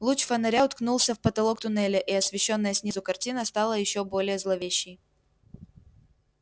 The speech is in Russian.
луч фонаря уткнулся в потолок туннеля и освещённая снизу картина стала ещё более зловещей